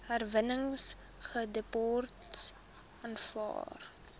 herwinningsdepots aanvaar